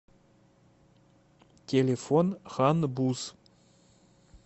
телефон хан буз